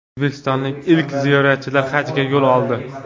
O‘zbekistonlik ilk ziyoratchilar hajga yo‘l oldi.